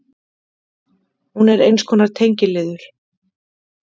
Hún er eins konar tengiliður.